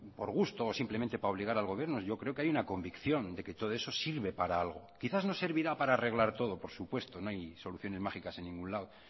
por gusto o simplemente para obligar al gobierno yo creo que hay una convicción de que todo eso sirve para algo quizás no servirá para arreglar todo por supuesto no hay soluciones mágicas en ningún lado